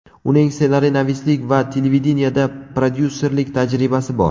Uning ssenariynavislik va televideniyeda prodyusserlik tajribasi bor.